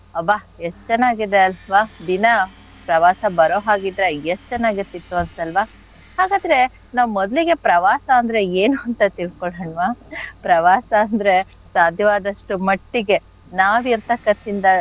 ಅಬ್ಬಾ ಎಷ್ಟ್ ಚೆನ್ನಾಗಿದೆ ಅಲ್ವಾ ದಿನ ಪ್ರವಾಸ ಬರೋ ಹಾಗಿದ್ರೆ ಎಷ್ಟ್ ಚೆನ್ನಾಗಿರ್ತಿತ್ತು ಅನ್ಸಲ್ವಾ ಹಾಗಾದ್ರೆ ನಾವ್ ಮೊದ್ಲಿಗೆ ಪ್ರವಾಸ ಅಂದ್ರೆ ಏನು ಅಂತ ತಿಳ್ಕೊಳೋಣ್ವ? ಪ್ರವಾಸ ಅಂದ್ರೆ ಸಾಧ್ಯವಾದಷ್ಟು ಮಟ್ಟಿಗೆ ನಾವಿರ್ತಕತ್ತಿನ್ದ,